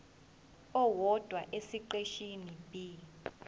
owodwa esiqeshini b